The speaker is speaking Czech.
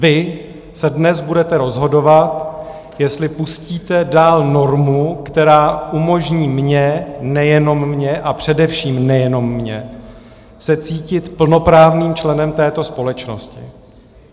Vy se dnes budete rozhodovat, jestli pustíte dál normu, která umožní mně, nejenom mně, a především nejenom mně, se cítit plnoprávným členem této společnosti.